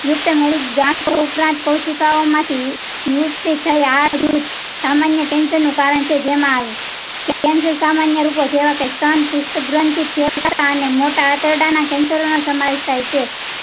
યુક્ત જાતકો ઉપરાંત કોશિકાઓ માંથી. વૃત્તિ થયી આ વૃત સામાન્ય cancer નું કારણ છે. જેમાં cancer સામાન્ય. રૂપો જેવા કે ગ્રંથ ને મોટા આંતરડા ના cancer નો સમાવેશ થાય છે.